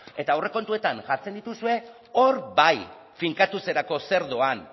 eta aurrekontuetan jartzen dituzue hor bai finkatuz erako zer doan